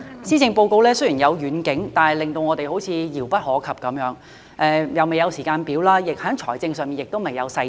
施政報告雖然有遠景，但令我們感到好像遙不可及，未有時間表，在財政上亦未有細節。